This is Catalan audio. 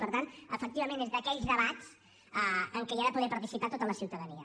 per tant efectivament és d’aquells debats en què ha de poder participar tota la ciutadania